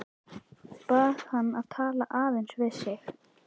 Bað hann að tala aðeins við sig.